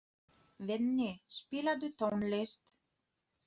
Venný, spilaðu tónlist.